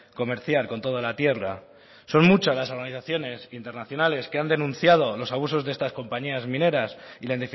comerciar con toda la tierra son muchas las organizaciones internacionales que han denunciado los abusos de estas compañías mineras y la